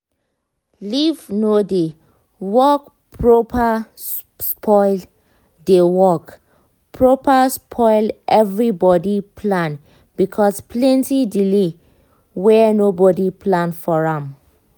lift no dey work properspoil dey work properspoil everybody plan cause plenty delay were nobody plan for am